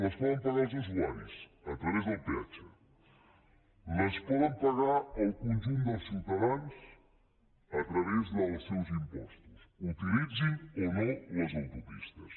les poden pagar els usuaris a través del peatge les poden pagar el conjunt dels ciutadans a través dels seus impostos utilitzin o no les autopistes